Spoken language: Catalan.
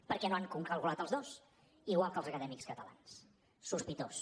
per què no han calculat els dos igual que els acadèmics catalans sospitós